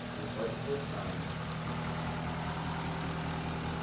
Você não pode forçar, né?